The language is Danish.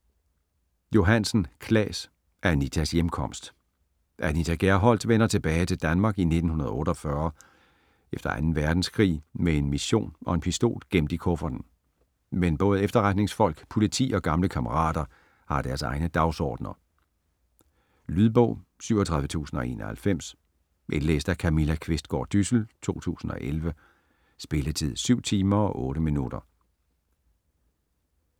Johansen, Claes: Anitas hjemkomst Anita Gerholdt vender tilbage til Danmark i 1948 efter 2. verdenskrig med en mission og en pistol gemt i kufferten. Men både efterretningsfolk, politi og gamle kammerater har deres egne dagsordner. Lydbog 37091 Indlæst af Camilla Qvistgaard Dyssel, 2011. Spilletid: 7 timer, 8 minutter.